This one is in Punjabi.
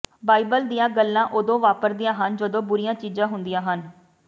ਬਾਈਬਲ ਦੀਆਂ ਗੱਲਾਂ ਉਦੋਂ ਵਾਪਰਦੀਆਂ ਹਨ ਜਦੋਂ ਬੁਰੀਆਂ ਚੀਜ਼ਾਂ ਹੁੰਦੀਆਂ ਹਨ